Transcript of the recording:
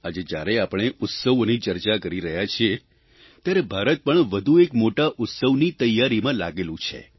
આજે જ્યારે આપણે ઉત્સવોની ચર્ચા કરી રહ્યા છીએ ત્યારે ભારત વધુ એક મોટા ઉત્સવની તૈયારીમાં લાગેલું છે